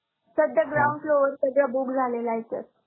सद्या ground floor सगळ्या book झालेल्या आहेत sir.